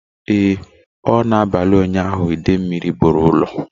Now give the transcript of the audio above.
Ee o! na abalị ụnyaahụ ide mmiri buru ụlọ